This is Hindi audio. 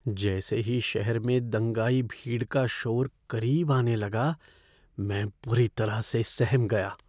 जैसे ही शहर में दंगाई भीड़ का शोर करीब आने लगा, मैं बुरी तरह से सहम गया।